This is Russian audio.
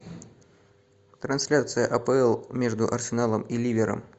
трансляция апл между арсеналом и ливером